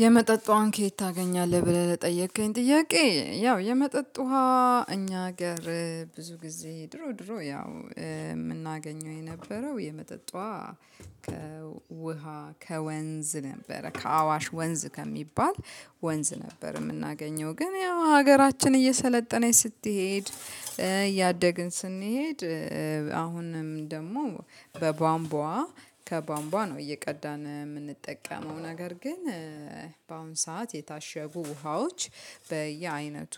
የመጠጥ ውሃን ከየት ታገኛለህ ብለህ ለጠየከኝ ጥያቄ ያው የመጠጥ ውሃ እኛ አገር ብዙ ጊዜ ድሮ ድሮ ያው የምናገኘው የነበረው የመጠጥ ውሃ። ከውሃ ከወንዝ ነበረ ከአዋሽ ወንዝ ከሚባል ወንዝ ነበር። የምናገኘው ግን ያው ሀገራችን እየሰለጠነች ስትሄድ እያደግን ስንሄድ። አሁንም ደግሞ በቧንቧ ከቧንቧ ነው እየቀዳን ምንጠቀመው ነገር ግን። በአሁን ሰዓት የታሸጉ ውሃዎች በየአይነቱ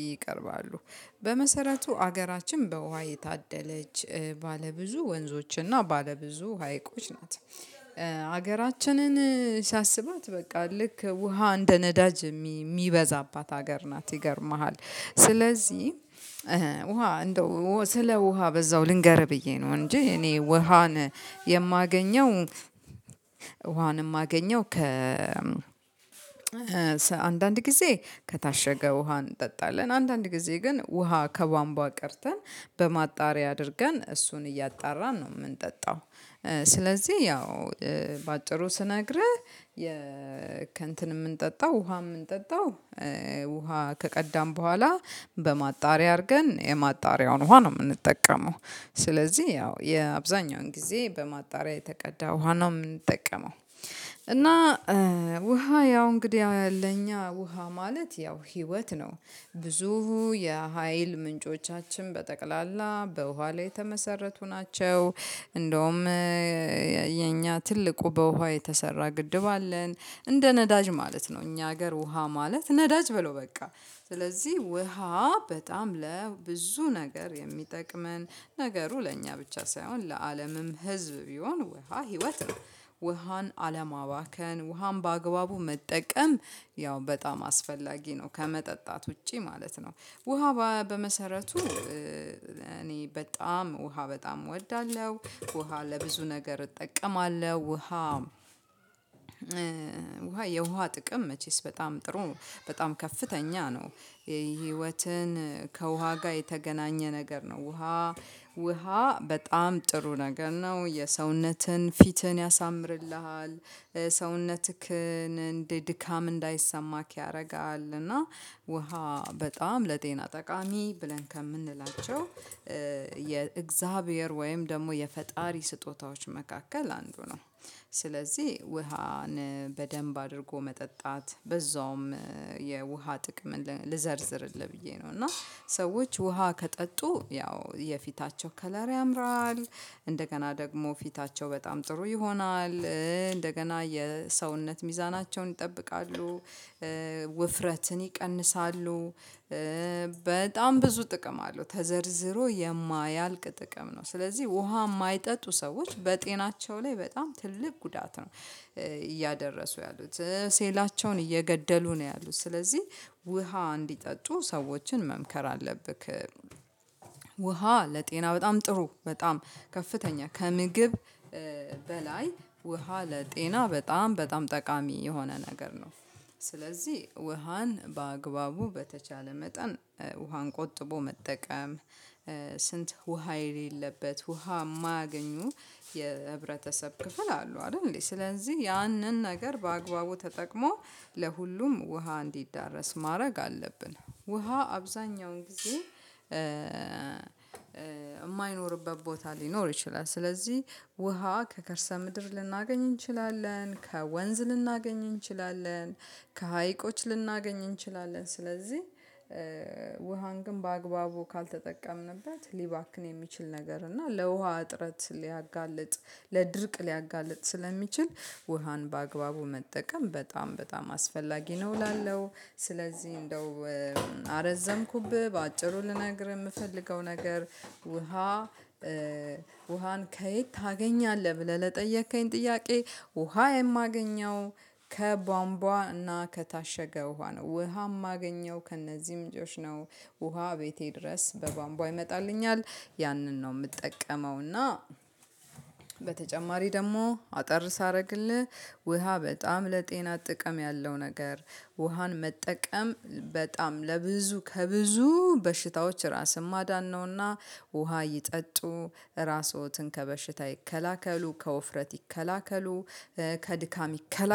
ይቀርባሉ። በመሰረቱ ሀገራችን በውሃ የታደለች ባለብዙ ወንዞችና ባለብዙ ሀይቆች ናት። ሀገራችንን ሲያስባት በቃ ልክ ውሃ እንደ ነዳጅ የሚበዛባት ሀገር ናት ይገርምሃል። ስለዚህ ውሃ እንደው ስለ ውሃ በዛው ልንገርህ ብዬ ነው እንጂ እኔ ውሃን የማገኘው። ውሃንም የማገኘው ከ አንዳንድ ጊዜ ከታሸገ ውሃ እንጠጣለን አንዳንድ ጊዜ ግን ውሃ ከቧንቧ ቀድተን በማጣሪያ አድርገን እሱን እያጣራን ነው የምንጠጣው። ስለዚህ ያው በአጭሩ ስነግርህ ከእንትን የምንጠጣው ውሃ የምንጠጣው ውሃ ከቀዳን በኋላ በማጣሪያ አድርገን የማጣሪያውን ውሃ ነው የምንጠቀመው። ስለዚህ ያው የአብዛኛውን ጊዜ በማጣሪያ የተቀዳ ውሃ ነው የምንጠቀመው። እና ውሃ ያው እንግዲህ ለእኛ ውሃ ማለት ያው ህይወት ነው። ብዙ የሀይል ምንጮቻችን በጠቅላላ በውሃ ላይ የተመሰረቱ ናቸው። እንደውም የኛ ትልቁ በውሃ የተሰራ ግድብ አለን። እንደ ነዳጅ ማለት ነው እኛ ሀገር ውሃ ማለት ነዳጅ በለው በቃ። ስለዚህ ውሃ በጣም ለብዙ ነገር የሚጠቅመን ነገሩ ለእኛ ብቻ ሳይሆን ለአለምም ህዝብ ቢሆን ውሃ ህይወት ነው። ውሃን አለማባከን ውሃን በአግባቡ መጠቀም ያው በጣም አስፈላጊ ነው ከመጠጣት ውጪ ማለት ነው። ውሃ በመሰረቱ እኔ በጣም ውሃ በጣም እወዳለሁ ውሃ ለብዙ ነገር እጠቀማለሁ ውሃ ውሃ የውሃ ጥቅም መቼስ በጣም ጥሩ በጣም ከፍተኛ ነው። ህይወትን ከውሃ ጋር የተገናኘ ነገር ነው ውሃ ውሃ በጣም ጥሩ ነገር ነው የሰውነትን ፊትን ያሳምርልሃል። ሰውነትክን እንደ ድካም እንዳይሰማክ ያደርጋል እና ውሃ በጣም ለጤና ጠቃሚ ብለን ከምንላቸው የእግዚአብሔር ወይም ደግሞ የፈጣሪ ስጦታዎች መካከል አንዱ ነው። ስለዚህ ውሃን በደንብ አድርጎ መጠጣት በዛውም የውሃ ጥቅም ልዘርዝርልህ ብዬ ነው እና ሰዎች ውሃ ከጠጡ ያው የፊታቸው ከለር ያምራል እንደገና ደግሞ ፊታቸው በጣም ጥሩ ይሆናል እንደገና የሰውነት ሚዛናቸውን ይጠብቃሉ። ውፍረትን ይቀንሳሉ። በጣም ብዙ ጥቅም አለው ተዘርዝሮ የማያልቅ ጥቅም ነው ስለዚህ ውሃ የማይጠጡ ሰዎች በጤናቸው ላይ በጣም ትልቅ ጉዳት ነው። እያደረሱ ያሉት ሴላቸውን እየገደሉ ነው ያሉት ስለዚህ ውሃ እንዲጠጡ ሰዎችን መምከር አለብክ። ውሃ ለጤና በጣም ጥሩ በጣም ከፍተኛ ከምግብ በላይ ውሃ ለጤና በጣም በጣም ጠቃሚ የሆነ ነገር ነው። ስለዚህ ውሃን በአግባቡ በተቻለ መጠን ውሃን ቆጥቦ መጠቀም። ስንት ውሃ የሌለበት ውሃ ማያገኙ የህብረተሰብ ክፍል አለው አይደል እንዴ? ስለዚህ ያንን ነገር በአግባቡ ተጠቅሞ ለሁሉም ውሃ እንዲዳረስ ማድረግ አለብን። ውሃ አብዛኛውን ጊዜ የማይኖርበት ቦታ ሊኖር ይችላል። ስለዚህ ውሃ ከከርሰ ምድር ልናገኝ እንችላለን ከወንዝ ልናገኝ እንችላለን ከሀይቆች ልናገኝ እንችላለን ስለዚህ። ውሃን ግን በአግባቡ ካልተጠቀምንበት ሊባክን የሚችል ነገር እና ለውሃ እጥረት ሊያጋልጥ ለድርቅ ሊያጋልጥ ስለሚችል ውሃን በአግባቡ መጠቀም በጣም በጣም አስፈላጊ ነው እላለው። ስለዚህ እንደው አረዘምኩብህ በአጭሩ ልነግርህ የምፈልገው ነገር ውሃን ከየት ታገኛለህ ብለህ ለጠየከኝ ጥያቄ? ውሃ የማገኘው ከቧንቧ እና ከታሸገ ውሃ ነው ውሃ ማገኘው ከእነዚህ ምንጮች ነው። ውሃ ቤቴ ድረስ በቧምቧ ይመጣልኝል ያንን ነው የምትጠቀመውና። በተጨማሪ ደግሞ አጠር ሳደርግልህ ውሃ በጣም ለጤና ጥቅም ያለው ነገር። ውሃን መጠቀም በጣም ለብዙ ከብዙ በሽታዎች ራስን ማዳን ነውና። ውሃ ይጠጡ እራሶትን ከበሽታ ይከላከሉ ከውፍረት ይከላከሉ። ከድካም ይከላከሉ